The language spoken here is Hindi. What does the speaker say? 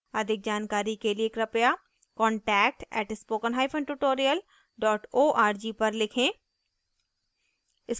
अधिक जानकारी के लिए कृपया contact @spokentutorial org पर लिखें